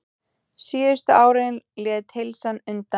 Síðustu árin lét heilsan undan.